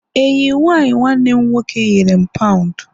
enyi m nwanyi nwanne m nwoke nyere m pound